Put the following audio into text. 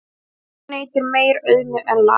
Margur neytir meir auðnu en laga.